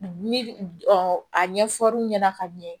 Ni a ɲɛfɔ ra'u ɲɛna ka ɲɛ